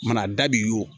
Mana dabi o